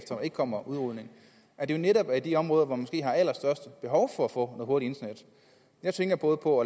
kommer udrulning at det netop er i de områder hvor man har allerstørst behov for at få hurtigt internet jeg tænker både på